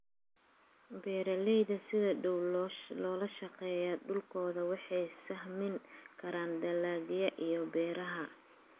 Beeraleyda sida dhow ula shaqeeya dhulkooda waxay sahmin karaan dalagyada iyo beeraha.